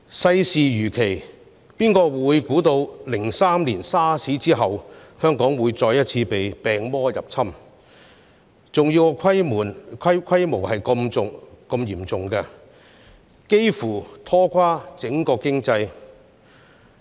世事如棋，誰能預知2003年 SARS 一役後，香港會再次被病毒入侵，而且爆發的情況竟是如此嚴重，幾乎拖垮整個經濟？